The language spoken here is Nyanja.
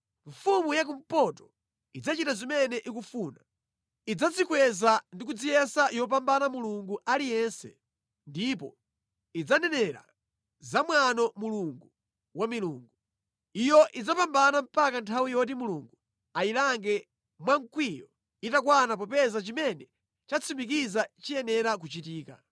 “Mfumu ya kumpoto idzachita zimene ikufuna. Idzadzikweza ndi kudziyesa yopambana mulungu aliyense ndipo idzanenera za mwano Mulungu wa milungu. Iyo idzapambana mpaka nthawi yoti Mulungu ayilange mwa mkwiyo itakwana popeza chimene chatsimikizika chiyenera kuchitika.